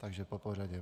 Takže popořadě.